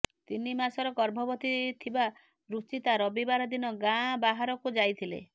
ତିନି ମାସର ଗର୍ଭବତୀ ଥିବା ରୁଚିତା ରବିବାର ଦିନ ଗାଁ ବାହାରକୁ ଯାଇଥିଲେ